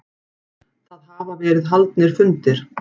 Það hafa verið haldnir fundir